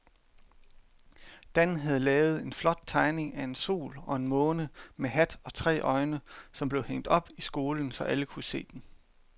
Dan havde lavet en flot tegning af en sol og en måne med hat og tre øjne, som blev hængt op i skolen, så alle kunne se den.